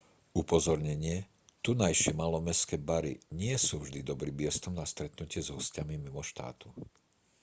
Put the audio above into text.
upozornenie tunajšie malomestské bary nie sú vždy dobrým miestom na stretnutie s hosťami mimo štátu